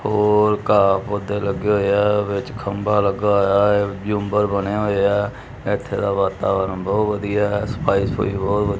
ਹੋਰ ਘਾਹ ਪੌਧੇ ਲੱਗੇ ਹੋਏ ਐ ਵਿੱਚ ਖੰਭਾ ਲੱਗਾ ਹੋਇਆ ਐ ਝੂੰਬਰ ਬਣੇ ਹੋਏ ਐ ਇੱਥੇ ਦਾ ਵਾਤਾਵਰਣ ਬਹੁਤ ਵਧੀਆ ਹੈ ਸਫ਼ਾਈ ਸੁਫੂਈ ਬਹੁਤ ਵਧੀ--